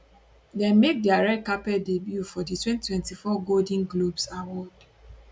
dem make dia red carpet debut for di 2024 golden globes awards